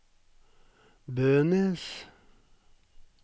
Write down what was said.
Bønes